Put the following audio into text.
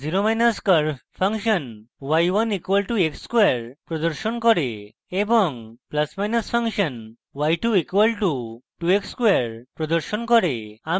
0curve function y1 = x square প্রদর্শন করে এবং +function y2 = 2 * x ^ 2 y2 = 2x square প্রদর্শন করে